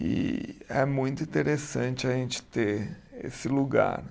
E é muito interessante a gente ter esse lugar.